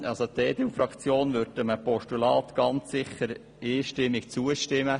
Trotzdem würde die EDU-Fraktion einem Postulat ganz sicher einstimmig zustimmen;